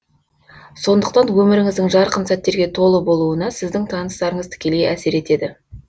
сондықтан өміріңіздің жарқын сәттерге толы болуына сіздің таныстарыңыз тікелей әсер етеді